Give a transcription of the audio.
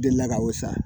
Delila ka o san